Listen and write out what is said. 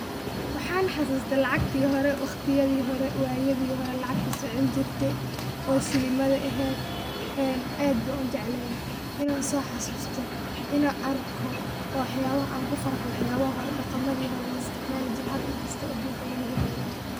Waxan xasuuste lacagti horr, waqtiyadii hore, wayaadi hore lacagtii Socon jirtee oo shilimada ehed en aad ban ujeclehe inan soo xasuusta, inan arko ,waa waxabaha anku farxo waxyabaha dhaqamaadi hore la isticmaali jire hada inkasto adunka laga heleynin